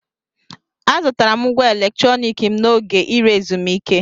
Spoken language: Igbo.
Azụtara m ngwá electronic m n'oge ire ezumike.